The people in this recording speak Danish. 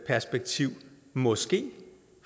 perspektiv måske